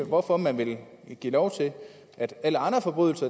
hvorfor man vil give lov til at alle andre forbrydelser